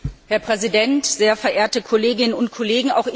Herr Präsident, sehr verehrte Kolleginnen und Kollegen!